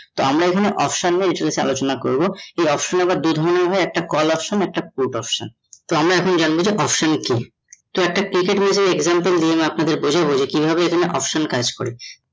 তো আমরা এখানে option নিয়ে নিচে আলোচনা করব এই option আবার দু ধরণের হয়ে, একটা call option একটা put option তো আমরা এখন জানবো যে option কী? তো একটা example দিয়ে আপনাদের বোঝাবে কী ভাবে option কাজ করে?